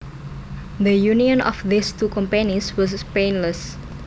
The union of these two companies was painless